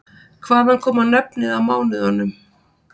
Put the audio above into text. Hvaðan koma nöfnin á mánuðunum?